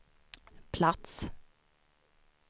plats